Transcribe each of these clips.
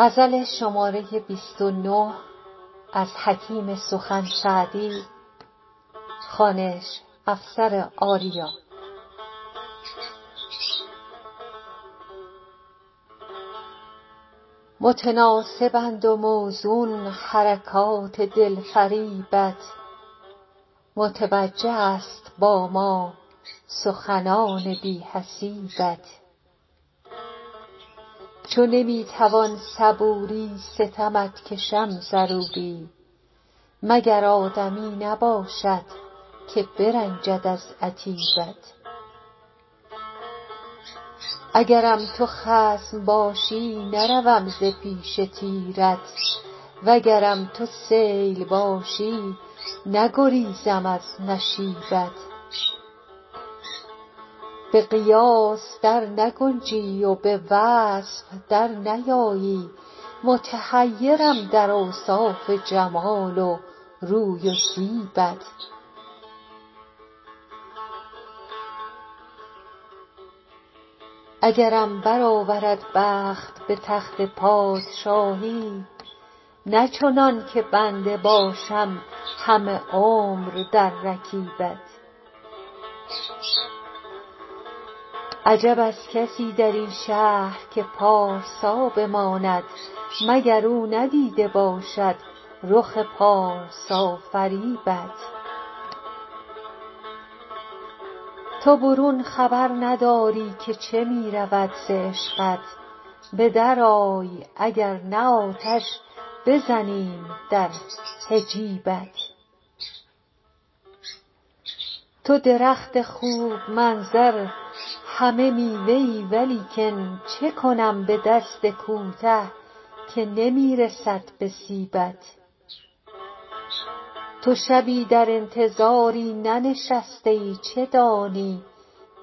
متناسبند و موزون حرکات دلفریبت متوجه است با ما سخنان بی حسیبت چو نمی توان صبوری ستمت کشم ضروری مگر آدمی نباشد که برنجد از عتیبت اگرم تو خصم باشی نروم ز پیش تیرت وگرم تو سیل باشی نگریزم از نشیبت به قیاس در نگنجی و به وصف در نیایی متحیرم در اوصاف جمال و روی و زیبت اگرم برآورد بخت به تخت پادشاهی نه چنان که بنده باشم همه عمر در رکیبت عجب از کسی در این شهر که پارسا بماند مگر او ندیده باشد رخ پارسافریبت تو برون خبر نداری که چه می رود ز عشقت به درآی اگر نه آتش بزنیم در حجیبت تو درخت خوب منظر همه میوه ای ولیکن چه کنم به دست کوته که نمی رسد به سیبت تو شبی در انتظاری ننشسته ای چه دانی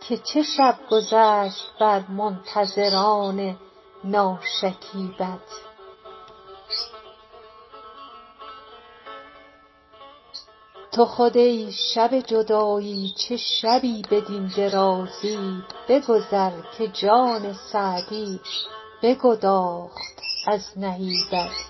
که چه شب گذشت بر منتظران ناشکیبت تو خود ای شب جدایی چه شبی بدین درازی بگذر که جان سعدی بگداخت از نهیبت